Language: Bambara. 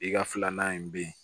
I ka filanan in bɛ yen